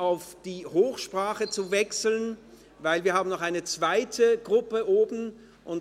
auf die Hochsprache zu wechseln, denn wir haben noch eine zweite Gruppe auf der Tribüne.